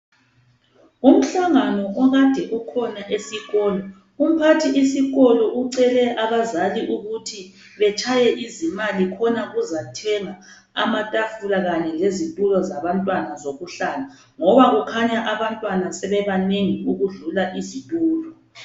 Umhlangano okade ukhona esikolo umphathi wesikolo ucele abazali ukuthi betshaye izimali khona kuzathengwa amatafula kanye lezitulo zabantwana zokuhlala ngoba kukhanya abantwana sebebanengi ukudlula izitulo.